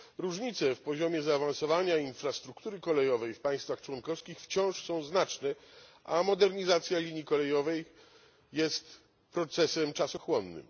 Różnice w poziomie zaawansowania infrastruktury kolejowej w państwach członkowskich wciąż są znaczne, a modernizacja linii kolejowej jest procesem czasochłonnym.